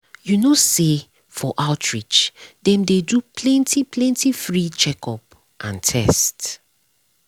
you know say for outreach dem dey do plenty plenty free checkup and test.